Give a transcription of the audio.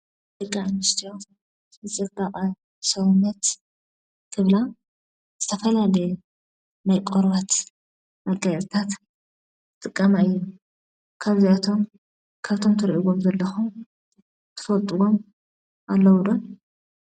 ደቂ ኣንስትዮ ንፅባቐ ሰውነት ክብላ ዝተፈላለየ ናይ ቆርበት መጋየፂታት ይጥቀማ እየን፡፡ ካብዚኣቶም ካብቶም ትሪእዎም ዘለኹም ትፈልጥዎም ኣለው ዶ?